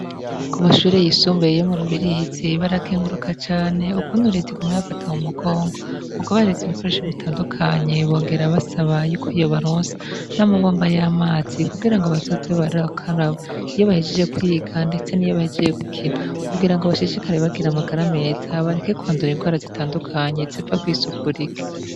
Ku mashure yisumbee iyo mu rubirizi barakenguruka cane ukundi urietigumebafata mu mugongo mu kubaririza ibikoresho bitandukanye bongera basaba yuko iyo baronsa n'amabomba y'amazi kugira ngo bazoze barakaraba iyo bahejije kwiga, ndetse n'iyo bahejije gukina kugira ngo bashishikare bagira amagara ameza bareke kwandura imbwara zitanduke kanyezepfa kwisukura ike.